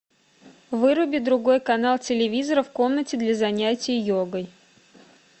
выруби другой канал телевизора в комнате для занятия йогой